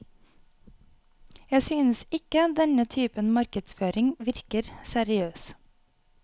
Jeg synes ikke denne typen markedsføring virker seriøs.